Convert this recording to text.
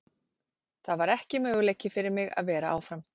Það var ekki möguleiki fyrir mig að vera áfram.